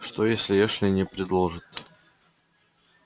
что если эшли не предложит